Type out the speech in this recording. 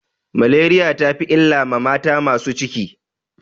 Maleriya ta fi illa ma mata masu ciki.